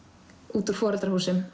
út úr foreldrahúsum